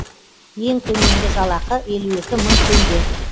ең төменгі жалақы елу екі мың теңге